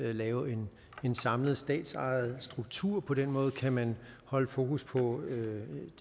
at lave en samlet statsejet struktur på den måde kan man holde fokus på